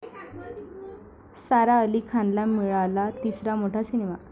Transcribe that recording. सारा अली खानला मिळाला तिसरा मोठा सिनेमा